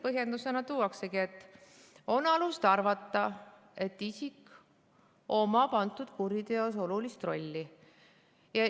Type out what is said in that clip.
Põhjendusena tuuaksegi, et on alust arvata, et isik omab antud kuriteos olulist rolli.